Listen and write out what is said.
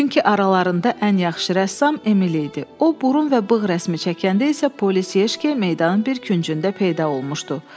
Çünki aralarında ən yaxşı rəssam Emil idi, o burun və bığ rəsmi çəkəndə isə polis Yeşke meydanın bir küncündə peyda olmuşdu.